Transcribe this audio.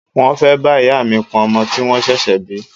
Mo fẹ́ bá ìyá mi pọn ọmọ tí wọ́n ṣẹ̀ṣẹ̀ bí.